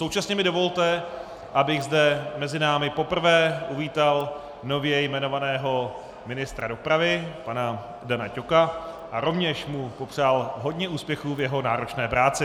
Současně mi dovolte, abych zde mezi námi poprvé uvítal nově jmenovaného ministra dopravy pana Dana Ťoka a rovněž mu popřál hodně úspěchů v jeho náročné práci.